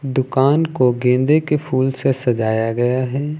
दुकान को गेंदे के फूल से सजाया गया है।